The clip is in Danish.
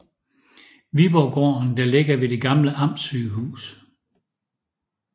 Viborggården der ligger ved det gamle Amtsygehus